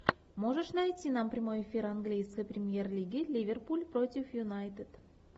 можешь найти нам прямой эфир английской премьер лиги ливерпуль против юнайтед